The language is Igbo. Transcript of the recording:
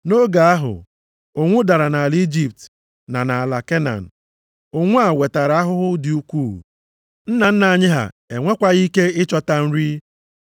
“Nʼoge ahụ, ụnwụ dara nʼala Ijipt na nʼala Kenan. Ụnwụ a wetara ahụhụ dị ukwuu. Nna nna anyị ha enwekwaghị ike ịchọta nri.